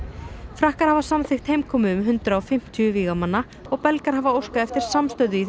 frakkar hafa samþykkt heimkomu um hundrað og fimmtíu vígamanna og Belgar hafa óskað eftir samstöðu í